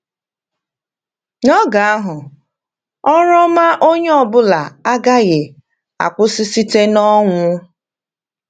N’oge ahụ, ọrụ ọma onye ọ bụla agaghị akwụsị site n’ọnwụ.